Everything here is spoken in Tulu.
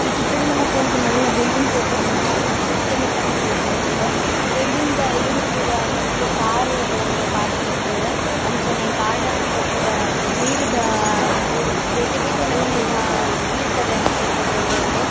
ಈ ಚಿತ್ರಡ್ ನಮಕ್ ಒಂಜಿ ಮಲ್ಲ ಬಿಲ್ಡಿಂಗ್ ತೋಜೊಂದುಂಡು ಆ ಸಿಟಿದ ಲೆಕನೆ ತೋಜೊಂದುಂಡು ಬಿಲ್ಡಿಂಗ್ ದ ಎದುರು ಪುರ ಮಸ್ತ್ ಕಾರ್ ಲೆನ್ ಪಾರ್ಕ್ ಮಲ್ದೆರ್ ಅಂಚೆನೆ ಗಾರ್ಡನ್ ಡ್ ಪುರ ನೀರ್ ದ ಬೇತೆ ಬೇತೆ ನಮೂನೆದ ನೀರ್ ದ ವ್ಯವಸ್ಥೆ ತೋಜೊಂದುಂಡು.